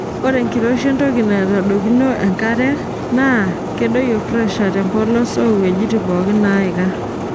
Ore enkiroshi entoki naitodoikino enkare naa kedoyio presha tempolos oo wueijitin pookin neiika.